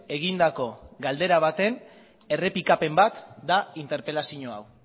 egindako galdera baten errepikapen bat da interpelazio hau